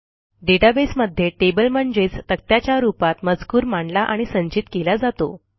database मध्ये table म्हणजेच तक्त्याच्या रूपात मजकूर मांडला आणि संचित केला जातो